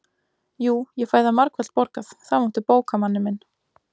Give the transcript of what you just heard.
Jú, ég fæ það margfalt borgað, það máttu bóka, manni minn